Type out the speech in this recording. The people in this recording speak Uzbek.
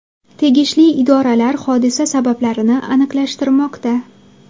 Tegishli idoralar hodisa sabablarini aniqlashtirmoqda.